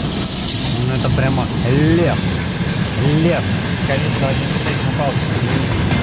ну это прямо лев лев скорее всего один и шесть на палке загляни